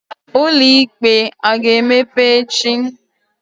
Ụlọikpe a ga-emepe echi?